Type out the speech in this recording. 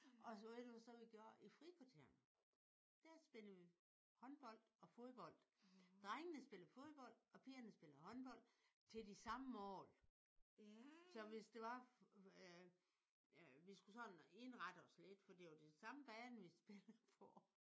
Og ved du så hvad vi gjorde i frikvarterene? Der spillede vi håndbold og fodbold. Drengene spillede fodbold og pigerne spillede håndbold til de samme mål. Så hvis det var øh vi skulle sådan lidt indrette os lidt for det var den samme bane vi spillede på